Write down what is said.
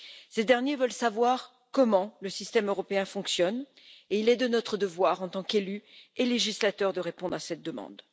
Ces derniers veulent savoir comment le système européen fonctionne et il est de notre devoir, en tant qu'élus et législateurs, de répondre à cette demande.